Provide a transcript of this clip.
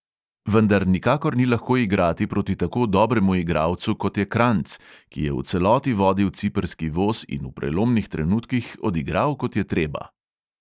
Vendar nikakor ni lahko igrati proti tako dobremu igralcu, kot je kranjc, ki je v celoti vodil ciprski voz in v prelomnih trenutkih odigral, kot je treba.